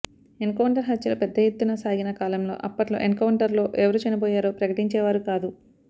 encounter హత్యలు పెద్ద ఎత్తున సాగిన కాలంలో అప్పట్లో ఎన్కౌంటర్లో ఎవరు చనిపోయారో ప్రకటించేవారు కాదు